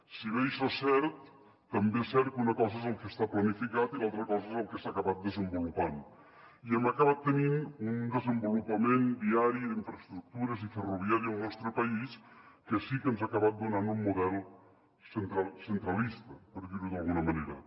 si bé això és cert també és cert que una cosa és el que està planificat i l’altra cosa és el que s’ha acabat desenvolupant i hem acabat tenint un desenvolupament viari d’infraestructures i ferroviari al nostre país que sí que ens ha acabat donant un model centralista per dir ho d’alguna manera